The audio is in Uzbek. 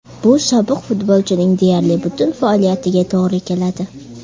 Bu sobiq futbolchining deyarli butun faoliyatiga to‘g‘ri keladi.